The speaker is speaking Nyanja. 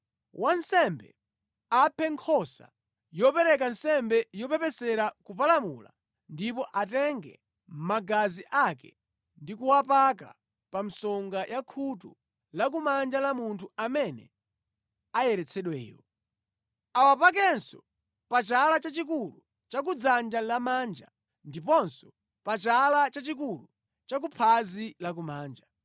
Wansembe aphe nkhosa yopereka nsembe yopepesera kupalamula ndipo atenge magazi ake ndi kuwapaka pa msonga ya khutu lakumanja la munthu amene ayeretsedweyo. Awapakenso pa chala chachikulu cha ku dzanja lamanja, ndiponso pa chala chachikulu cha ku phazi lakumanja.